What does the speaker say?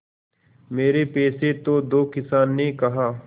मेरे पैसे तो दो किसान ने कहा